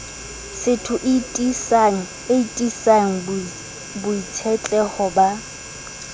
setho e tiisang boitshetleho ba